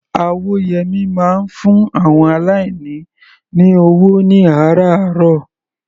Awóyẹmí máa ń fún àwọn aláìní ní ọwọ́ ní àrààárọ̀.